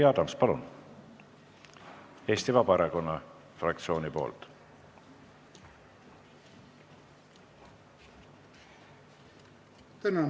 Jüri Adams, palun, Eesti Vabaerakonna fraktsiooni nimel!